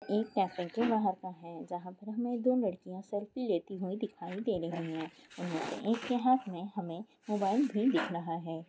एक कैफे के बाहर का है जहाँ पे हमें दो लड़किया सेल्फी लेती हुई दिखाई दे रही है उनमें से एक के हाथ में हमें मोबाइल भी दिख रहा है।